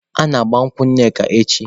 A na-agba nkwụ Nneka echi.